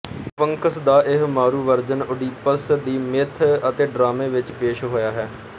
Sphinx ਦਾ ਇਹ ਮਾਰੂ ਵਰਜਨ ਓਡੀਪਸ ਦੀ ਮਿੱਥ ਅਤੇ ਡਰਾਮੇ ਵਿੱਚ ਪੇਸ਼ ਹੋਇਆ ਹੈ